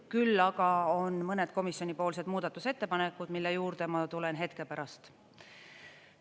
Küll aga on mõned komisjonipoolsed muudatusettepanekud, mille juurde ma tulen hetke pärast.